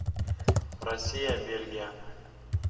россия бельгия